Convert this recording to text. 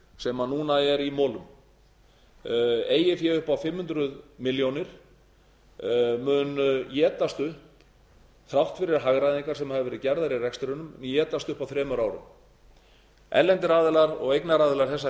sem núna er í molum eigið fé upp á fimm hundruð milljóna mun étast upp þrátt fyrir hagræðingar sem hafa verið gerðar í rekstrinum étast upp á þremur árum erlendir aðilar og eignaraðilar þessa